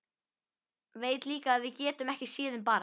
Veit líka að við getum ekki séð um barn.